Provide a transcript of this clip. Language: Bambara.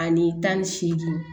Ani tan ni seegin